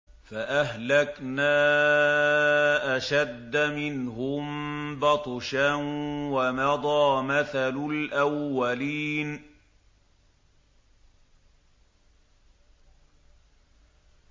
فَأَهْلَكْنَا أَشَدَّ مِنْهُم بَطْشًا وَمَضَىٰ مَثَلُ الْأَوَّلِينَ